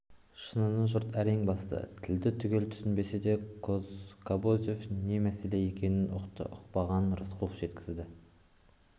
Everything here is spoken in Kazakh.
шыныны жұрт әрең басты тілді түгел түсінбесе де кобозев не мәселе екенін ұқты ұқпағанын рысқұлов жеткізді